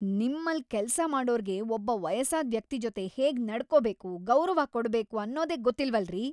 ನಿಮ್ಮಲ್ಲ್‌ ಕೆಲ್ಸ ಮಾಡೋರ್ಗೆ ಒಬ್ಬ ವಯಸ್ಸಾದ್‌ ವ್ಯಕ್ತಿ ಜೊತೆ ಹೇಗ್‌ ನಡ್ಕೊಬೇಕು, ಗೌರವ ಕೊಡ್ಬೇಕು ಅನ್ನೋದೇ ಗೊತ್ತಿಲ್ವಲ್ರೀ!